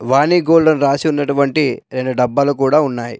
వాణి gold అని రాసి ఉన్నటువంటి రెండు డబ్బాలు కూడా ఉన్నాయి.